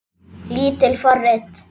Lítil forrit